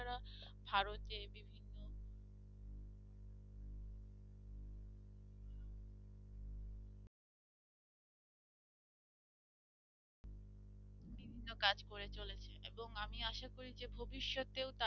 এবং আমি আশা করি যে ভবিষ্যতেও তারা